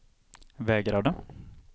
vägrade